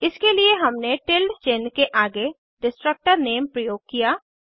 इसके लिए हमने टिल्डे चिन्ह के आगे डिस्ट्रक्टर नेम प्रयोग किया